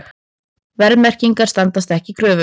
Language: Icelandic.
Verðmerkingar standast ekki kröfur